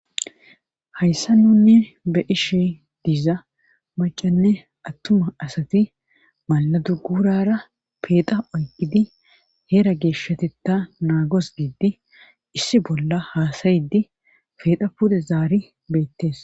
hayssa nunne be ishi diiza macanne attuma asati maladu gurara peeda oykidi heera geeshshati ta naagos gidi issi bolla haasayidi peeda pude zaari beettes